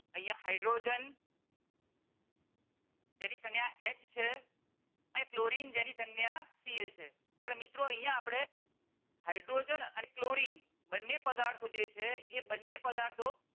અહિયાં હાઇડ્રોજન જેની સંજ્ઞા H છે અને ક્લોરિન જેની સંજ્ઞાCL પણ મિત્રો આપણે અહિયાં આપણે હાઇડ્રોજન અને ક્લોરિન બંને પદાર્થો જે છે એ બંને પદાર્થો